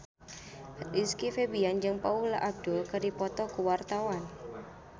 Rizky Febian jeung Paula Abdul keur dipoto ku wartawan